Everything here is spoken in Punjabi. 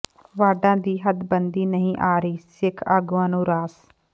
ਵਾਰਡਾਂ ਦੀ ਹੱਦਬੰਦੀ ਨਹੀਂ ਆ ਰਹੀ ਸਿੱਖ ਆਗੂਆਂ ਨੂੰ ਰਾਸ